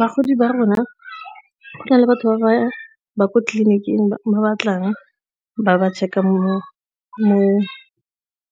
Bagodi ba rona, go na le batho ba ko tleliniking ba batlang ba ba checker mo